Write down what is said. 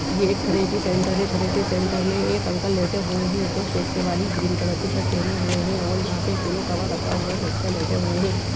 ये एक therapy centre है। थेरेपी सेंटर में एक अंकल लेटे हुए हैं जो चेक्स वाली ग्रीन कलर की शर्ट पहने हुए हैं और यहाॅं पे एक पिलो कवर रखा हुआ है। वह उस पे लेटे हुए है।